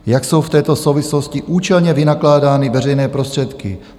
Jak jsou v této souvislosti účelně vynakládány veřejné prostředky?